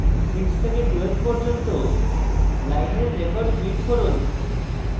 6 থেকে 12th পর্যন্ত লাইনের records print করুন